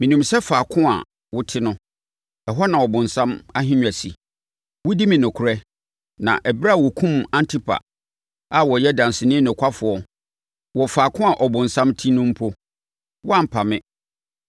Menim sɛ faako a wote no, ɛhɔ na ɔbonsam ahennwa si. Wodi me nokorɛ; na ɛberɛ a wɔkumm Antipa a ɔyɛ ɔdanseni nokwafoɔ wɔ faako a ɔbonsam te no mpo, woampa me.